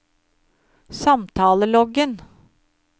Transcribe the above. samtaleloggen